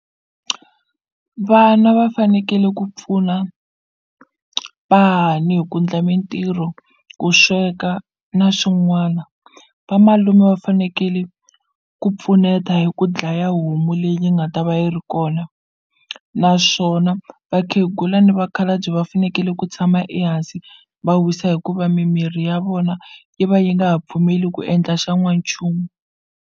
Vana va fanekele ku pfuna vahahani hi ku endla mintirho ku sweka na swin'wana vamalume va fanekele ku pfuneta hi ku dlaya homu leyi yi nga ta va yi ri kona naswona vakhegula ni vakhalabye va fanekele ku tshama ehansi va wisa hikuva mimiri ya vona yi va yi nga ha pfumeli ku endla xan'wanchumu.